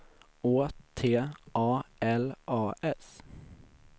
Å T A L A S